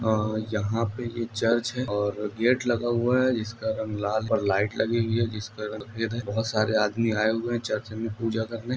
आ यहाँ पे ये चर्च है और गेट लगा हुआ है जिसका रंग लाल है और लाइट लगी हुई है जिसका रंग सफेद है। बहोत सारे आदमी आए हुए हैं चर्च में पूजा करने--